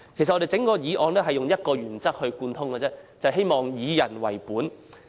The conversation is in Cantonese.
整項議案貫徹一個原則，便是以人為本。